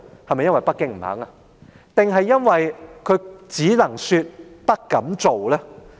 是否因為北京不願意，還是因為她只能說、不敢做呢？